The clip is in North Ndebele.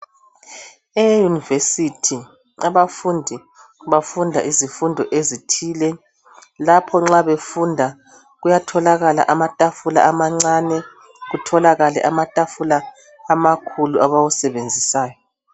Eyunivesithi abafundi bafunda izifundo ezithile. Lapho nxa befunda kuyatholakala amatafula amancane kutholakale amatafula amakhulu abawasebenzisayo.